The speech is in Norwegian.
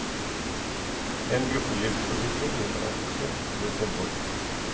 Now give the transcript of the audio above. En gruppelivsforsikring gjelder også ved selvmord.